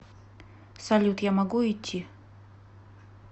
салют я могу идти